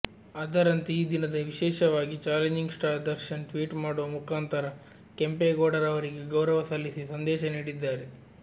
ಅದರಂತೆ ಈ ದಿನದ ವಿಶೇಷವಾಗಿ ಚಾಲೆಂಜಿಂಗ್ ಸ್ಟಾರ್ ದರ್ಶನ್ ಟ್ವೀಟ್ ಮಾಡುವ ಮುಖಾಂತರ ಕೆಂಪೇಗೌಡರವರಿಗೆ ಗೌರವ ಸಲ್ಲಿಸಿ ಸಂದೇಶ ನೀಡಿದ್ದಾರೆ